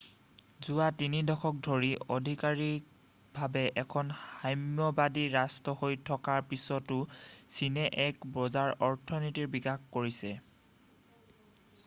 যোৱা 3 দশক ধৰি অধিকাৰীকভাৱে এখন সাম্যবাদী ৰাষ্ট্ৰ হৈ থকাৰ পিছতো চীনে এক বজাৰ অৰ্থনীতিৰ বিকাশ কৰিছে